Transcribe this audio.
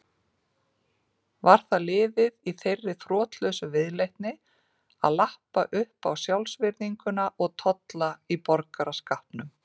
Var það liður í þeirri þrotlausu viðleitni að lappa uppá sjálfsvirðinguna og tolla í borgaraskapnum.